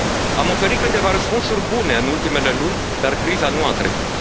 Am oferit câteva răspunsuri bune în ultimele luni, dar criza nu a trecut.